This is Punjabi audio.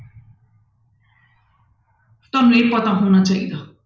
ਤੁਹਾਨੂੰ ਇਹ ਪਤਾ ਹੋਣਾ ਚਾਹੀਦਾ।